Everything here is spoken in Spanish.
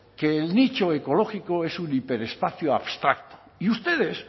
que el nicho ecológico es un hiperespacio abstracto y ustedes